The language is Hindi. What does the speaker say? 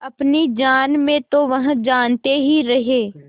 अपनी जान में तो वह जागते ही रहे